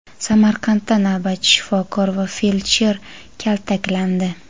Samarqandda navbatchi shifokor va feldsher kaltaklandi.